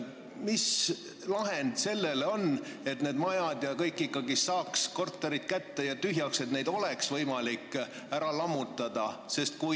Mis lahend võiks olla, et saaks need majad ja korterid kätte ja tühjaks, et neid oleks võimalik ära lammutada?